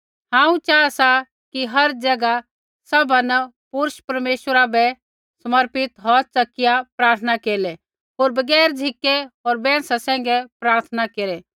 हांऊँ चाहा सा कि हर ज़ैगा सभा न पुरूष परमेश्वरा बै समर्पित हौथ च़किया प्रार्थना केरलै होर बगैर झ़िकै होर बैंहसा सैंघै प्रार्थना केरै